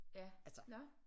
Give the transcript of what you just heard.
Ja nåh